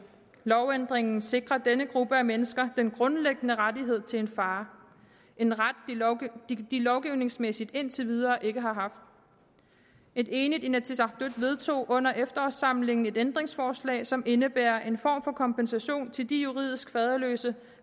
lovændringen sikrer denne gruppe af mennesker den grundlæggende ret til en far en ret de lovgivningsmæssigt indtil videre ikke har haft et enigt inatsisartut vedtog under efterårssamlingen et ændringsforslag som indebærer en form for kompensation til de juridisk faderløse